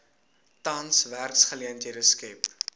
tans werksgeleenthede skep